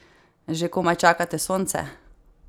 Že komaj čakate sonce?